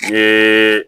N ye